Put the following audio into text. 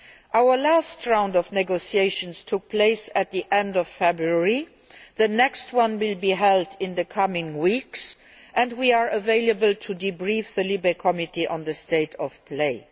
Our last round of negotiations took place at the end of February. The next one will be held in the coming weeks, and we are available to debrief the LIBE Committee on the state of play.